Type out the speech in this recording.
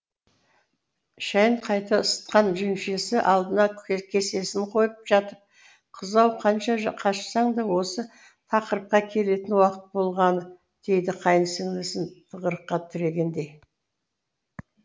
шәй қайта ысытқан жеңешесі алдына кесесін қойып жатып қыз ау қанша қашсаң да осы тақырыпқа келетін уақыт болғаны деді қайынсіңлісін тығырыққа тірегендей